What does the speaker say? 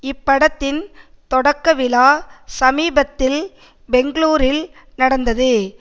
இப்படத்தின் தொடக்க விழா சமீபத்தில் பெங்களூரில் நடந்தது